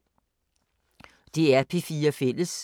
DR P4 Fælles